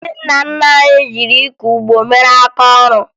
Ndị nna nna anyị ji ịkọ ụgbọ mere aka ọrụ